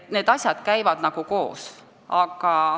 Need asjad käivad koos.